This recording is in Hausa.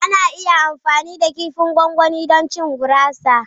Ana iya amfani da kifin gwangwani don cin gurasa.